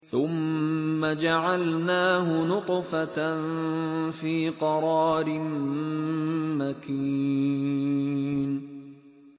ثُمَّ جَعَلْنَاهُ نُطْفَةً فِي قَرَارٍ مَّكِينٍ